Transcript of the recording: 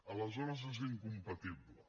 aleshores és incompatible